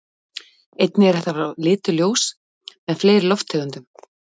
Einnig er hægt að fá fram lituð ljós með fleiri lofttegundum.